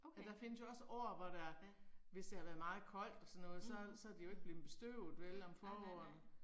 Og der findes jo også år hvor der, hvis det har været meget koldt og sådan noget så så er det jo ikke blevet bestøvet vel om foråret